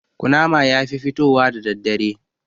Ƙunama yafi fitowa da daddare